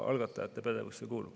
Algatajate pädevusse kuulub.